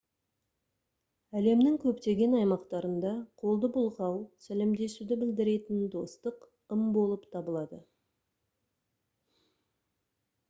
әлемнің көптеген аймақтарында қолды бұлғау сәлемдесуді білдіретін достық ым болып табылады